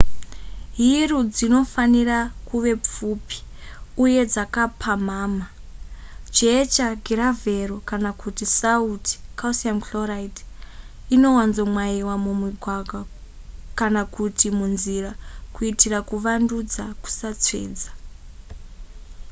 hiru dzinofanira kuve pfupi uye dzakapamhamha. jecha giravhero kana kuti sauti calcium chloride inowanzomwayiwa mumigwagwa kana kuti munzira kuitira kuvandudza kusatsvedza